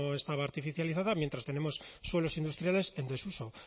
estaba artificializada mientras tenemos suelos industriales en desuso